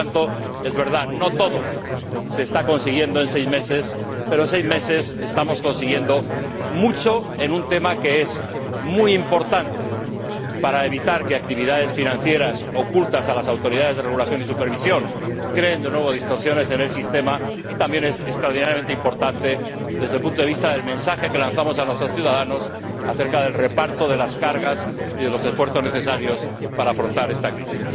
Por lo tanto, es verdad que no todo se está consiguiendo en seis meses, pero en seis meses estamos consiguiendo mucho en un tema que es muy importante para evitar que actividades financieras ocultas a las autoridades de regulación y supervisión creen, de nuevo, distorsiones en el sistema, y también es extraordinariamente importante, desde el punto de vista del mensaje que lanzamos a nuestros ciudadanos acerca del reparto de las cargas y de los esfuerzos necesarios para afrontar esta crisis.